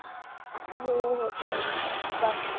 हो हो चालेल चालेल bye